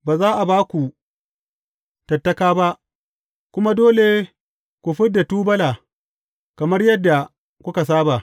Ba za a ba ku tattaka ba, kuma dole ku fid da tubula kamar yadda kuka saba.